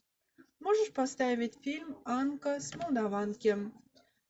можешь поставить фильм анка с молдованки